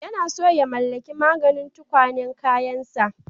Yana son ya mallaki maginin tukwane kayansa